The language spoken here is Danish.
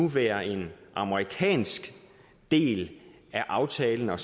være en amerikansk del af aftalen at